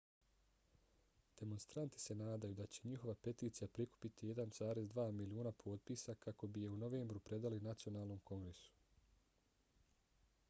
demonstranti se nadaju da će njihova peticija prikupiti 1,2 miliona potpisa kako bi je u novembru predali nacionalnom kongresu